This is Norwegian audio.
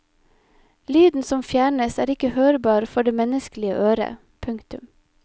Lyden som fjernes er ikke hørbar for det menneskelige øret. punktum